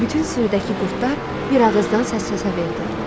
Bütün sürüdəki qurdlar bir ağızdan səs-səsə verdi.